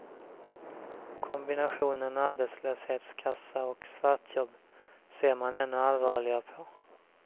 Kombinationen arbetslöshetskassa och svartjobb ser man ännu allvarligare på.